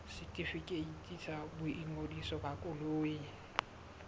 setefikeiti sa boingodiso ba koloi